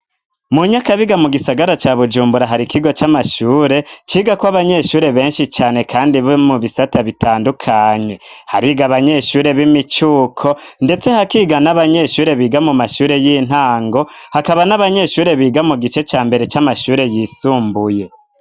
Mu Nyakabiga mu gisagara ca Bujumbura, hari ikigo c'amashure cigako abanyeshure benshi cane, kandi bo mu bisata bitandukanye, hariga abanyeshure b'imicuko, ndetse hakiga n'abanyeshure biga mu mashure y'intango, hakaba n'abanyeshure biga mu gice ca mbere c'amashure yisumbuye.